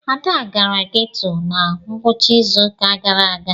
Ada gara geto na ngwụcha izu ụka gara aga.